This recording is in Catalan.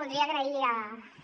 voldria agrair